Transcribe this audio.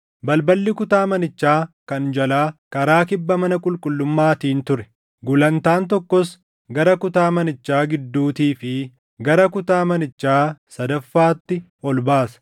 Balballi kutaa manichaa kan jalaa karaa kibba mana qulqullummaatiin ture; gulantaan tokkos gara kutaa manichaa gidduutii fi gara kutaa manichaa sadaffaatti ol baasa.